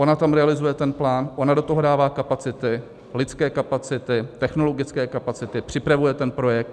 Ona tam realizuje ten plán, ona do toho dává kapacity, lidské kapacity, technologické kapacity, připravuje ten projekt.